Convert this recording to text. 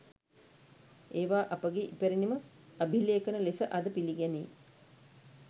ඒවා අපගේ ඉපැරණි ම අභිලේඛන ලෙස අද පිළිගැනේ.